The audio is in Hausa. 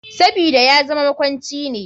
Sabida yazama makwanci ne.